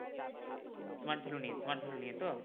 smart value নিয়ে smart value নিয়ে তো?